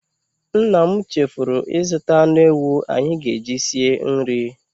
Nna m chefuru ịzụta anụ ewu anyị ga-eji sie nri.